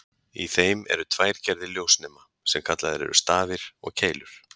Í þeim eru tvær gerðir ljósnema, sem kallaðir eru stafir og keilur.